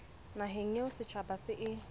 naheng eo setjhaba se e